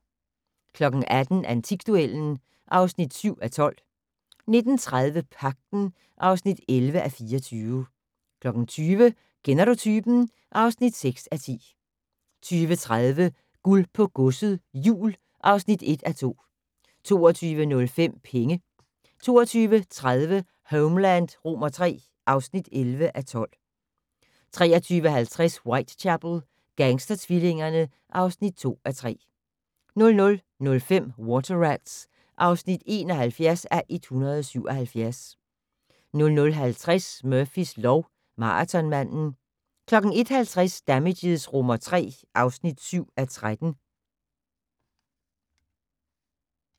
18:00: Antikduellen (7:12) 19:30: Pagten (11:24) 20:00: Kender du typen? (6:10) 20:30: Guld på godset - jul (1:2) 22:05: Penge 22:30: Homeland III (11:12) 23:20: Whitechapel: Gangstertvillingerne (2:3) 00:05: Water Rats (71:177) 00:50: Murphys lov: Maratonmanden 01:50: Damages III (7:13)